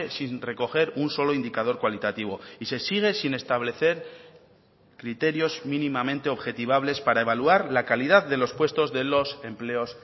sin recoger un solo indicador cualitativo y se sigue sin establecer criterios mínimamente objetivables para evaluar la calidad de los puestos de los empleos